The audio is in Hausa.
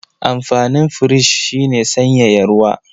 Amfanin firich shi ne sanyaya ruwa.